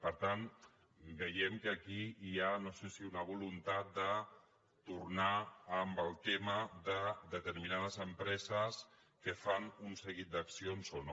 per tant veiem que aquí hi ha no sé si una voluntat de tornar amb el tema de determinades empreses que fan un seguit d’accions o no